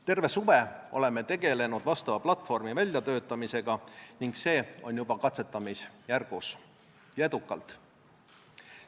Terve suve oleme tegelenud vastava platvormi väljatöötamisega ning see on juba katsetamisjärgus, seni edukalt.